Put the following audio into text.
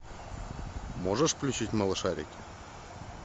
можешь включить малышарики